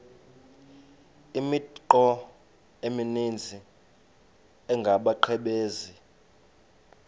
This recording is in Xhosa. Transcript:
imithqtho emininzi engabaqbenzi